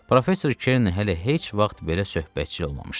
Professor Kern hələ heç vaxt belə söhbətçil olmamışdı.